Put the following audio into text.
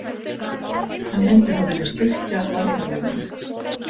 Hann myndi þá vilja styrkja varnarlínuna.